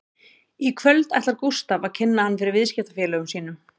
Í kvöld ætlar Gústaf að kynna hann fyrir viðskiptafélögum sínum